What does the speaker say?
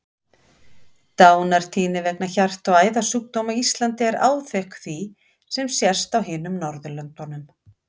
Dánartíðni vegna hjarta- og æðasjúkdóma á Íslandi er áþekk því sem sést á hinum Norðurlöndunum.